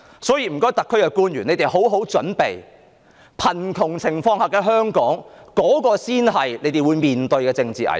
所以，請香港特別行政區的官員好好準備，貧窮情況下的香港，才是他們將要面對的政治危機。